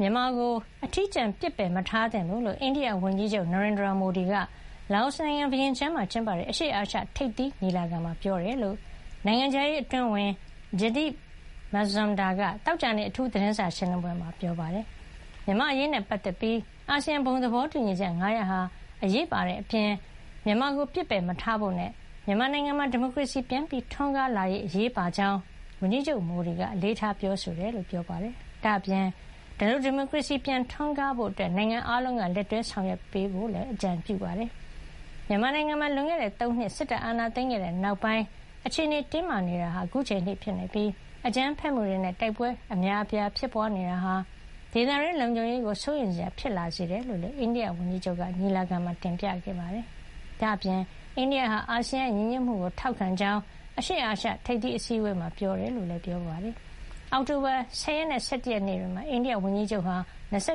မြန်မာကို အထီးကျန်အောင် ပစ်ပယ်မထားသင့်ဘူးလို့ အိန္ဒိယဝန်ကြီးချုပ် Narendra Modi က လာအိုနိုင်ငံ ဗီယင်ကျန်းမှာကျင်းပတဲ့ အရှေ့အာရှ ထိပ်သီးညီလာခံမှာ ပြောကြားခဲ့တယ်လို့ နိုင်ငံခြားရေး အတွင်းဝန် Jaideep Mazumdar က သောကြာနေ့ အိန္ဒိယနိုင်ငံခြားရေးဌာန အထူး သတင်းစာရှင်းလင်း ပွဲမှာ ပြောပါတယ်။ မြန်မာ့အရေးနဲ့ ပတ်သက်ပြီး ခေါင်းဆောင် အများအပြားက ပြောသလို အာဆီယံ ဘုံသဘောတူညီချက် ၅ ရပ်ဟာ အရေးပါတဲ့ အပြင် မြန်မာကို ပစ်ပယ်မထားဖို့နဲ့ မြန်မာနိုင်ငံမှာ ဒီမိုကရေစီပြန်ထွန်းကား လာရေးဟာလည်း အရေးပါကြောင်း ဝန်ကြီးချုပ် Modi က အလေးထား ပြောဆိုခဲ့တယ်လို့လည်း ပြောပါတယ်။ ဒါ့ပြင် ဒီလို ဒီမိုကရေစီ ပြန်ထွန်းကား လာဖို့ အတွက် နိုင်ငံ အားလုံးက လက်တွဲ ဆောင်ရွက်ပေးသင့် တယ်လို့လည်း အကြံပြုပါတယ်။ မြန်မာနိုင်ငံမှာ လွန်ခဲ့တဲ့ ၃ နှစ် စစ်တပ်အာဏာသိမ်းခဲ့တဲ့ နောက်ပိုင်း အခြေနေ တင်းမာနေတာဟာ အခုချိန်ထိ ဖြစ်နေပြီး အကြမ်းဖက်မှုတွေနဲ့ တိုက်ပွဲတွေ အများအပြား ဖြစ်ပွါးနေတာဟာ ဒေသတွင်း လုံခြုံရေးကို စိုးရိမ်စရာ ဖြစ်လာစေတယ်လို့လည်း အိန္ဒိယဝန်ကြီးချုပ်က ညီလာခံမှာ တင်ပြခဲ့တာပါ။ ဒါ့အပြင် အိန္ဒိယဟာ အာဆီယံရဲ့ ညီညွတ်မှုကို ထောက်ခံကြောင်း အရှေ့အာရှ ထိပ်သီးအစည်းဝေးမှာ ပြောကြားခဲ့ တယ်လို့ လည်း ပြောပါတယ်။ အောက်တိုဘာ ၁၀ ရက်နဲ့ ၁၁ ရက်နေ့တွေမှာ လာအိုကို သွားရော